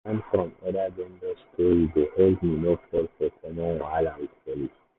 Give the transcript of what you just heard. to learn from other vendors story dey help me no fall for common wahala with police.